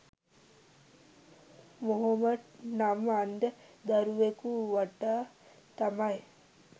මොහොමඩ් නම් අන්ධ දරුවෙකු වටා තමයි